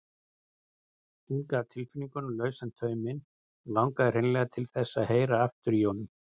Hún gaf tilfinningunum lausan tauminn og langaði hreinlega til þess að heyra aftur í honum.